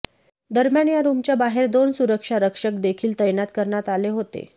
दरम्यान या रूमच्या बाहेर दोन सुरक्षारकक्षक देखील तैनात करण्यात आले होते